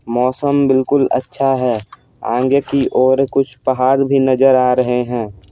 मौसम बिल्कुल अच्छा है आगे की ओर कुछ पहाड़ भी नजर आ रहे हैं।